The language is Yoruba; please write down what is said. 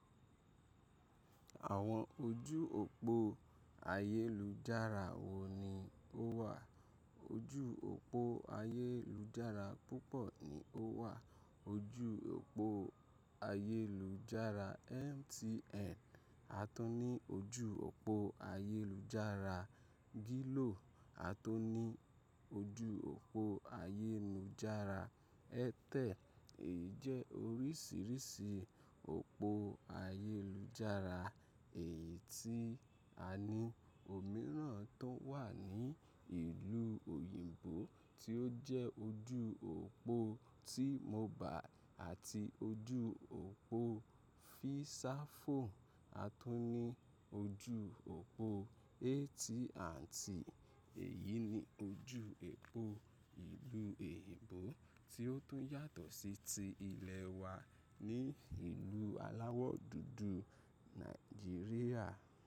Àwọn ojú òpó ayélujára wo ni ó wà? Ojú òpó ayélujára púpọ̀ ni ó wà. Ojú òpó ayélujára MTN, a tu ní ojú òpó ayélujára Glo, a tu ní ojú òpó ayélujára Airtel, èyí jẹ́ oríṣiríṣi òpó ayélujára, èyí tí a ní òmíràn tó wà ní ìlú òyìnbó tí ó jẹ́ ojú òpó T-Mobile àti ojú òpó Visafone, a tu ní ojú òpó AT&T, èyí ni ojú òpó ìlú òyìnbó tí ó tún yàtọ̀ sí ti ilẹ̀ wa ní ìlú aláwọ̀ dúdú Nàìjíríà.